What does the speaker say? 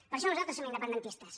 per això nosaltres som independentistes